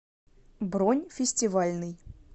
бронь фестивальный